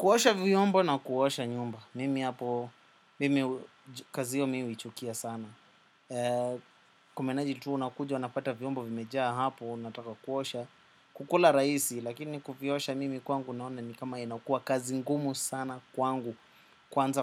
Kuosha vyombo na kuosha nyumba, mimi hapo, mimi kazi hio mi huichukia sana. Kumenaji tuu unakuja, unapata viombo vimejaa hapo, nataka kuosha. Kukula raisi, lakini kuviosha mimi kwangu naona ni kama inakua kazi ngumu sana kwangu. Kwanza